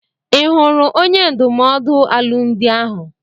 I hụrụ onye ndụmọdụ alụmdi ahụ?